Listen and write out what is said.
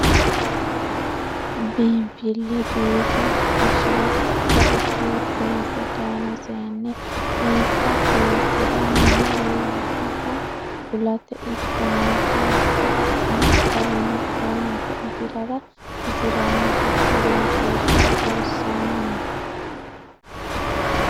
Biinfile biife hayishire qodhe uddire seesse dayino seeni insa seesisiri mine wolottaho kulate ikko marre hakko baxxino garinni owaante afirara hasiranohura egenshiishsha loosanni no.